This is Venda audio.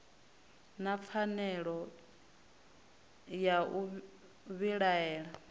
na pfanelo ya u vhilaela